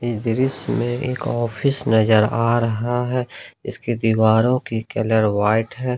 इस दृश्य में एक ऑफिस नजर आ रहा है इसके दीवारों के कलर व्हाइट है।